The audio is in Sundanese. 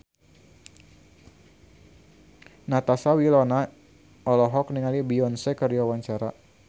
Natasha Wilona olohok ningali Beyonce keur diwawancara